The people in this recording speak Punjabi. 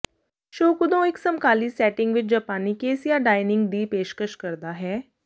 ਸ਼ੋਕੁਦੋ ਇਕ ਸਮਕਾਲੀ ਸੈਟਿੰਗ ਵਿਚ ਜਪਾਨੀ ਕੈਸੀਆ ਡਾਈਨਿੰਗ ਦੀ ਪੇਸ਼ਕਸ਼ ਕਰਦਾ ਹੈ